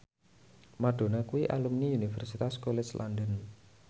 Madonna kuwi alumni Universitas College London